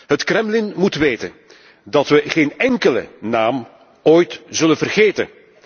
Het Kremlin moet weten dat we geen enkele naam ooit zullen vergeten.